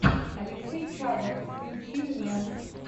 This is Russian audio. алексей чадов включи мне